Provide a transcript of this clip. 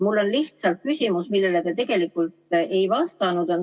Mul on lihtsalt küsimus, millele te tegelikult ei vastanud.